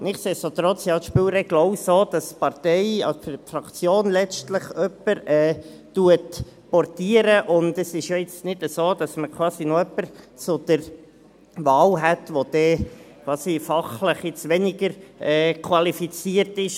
Nichtsdestotrotz sind halt die Spielregeln auch so, dass die Partei oder letztlich die Fraktion jemanden portiert, und es ist ja jetzt nicht so, dass man quasi noch jemanden zur Wahl hätte, der dann fachlich weniger qualifiziert ist.